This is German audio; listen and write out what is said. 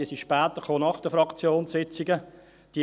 sie sind alle später, nach den Fraktionssitzungen, gekommen.